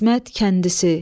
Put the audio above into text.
İsmət kəndisi.